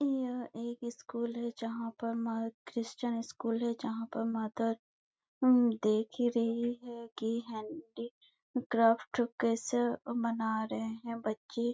यहाँ एक स्कूल हैं जहाँ पर म क्रिस्चियन स्कूल हैं जहाँ पर मदर उम देख ही रही हैं कि हैंडीक्राफ्ट कैसे बना रहैं हैं बच्चे --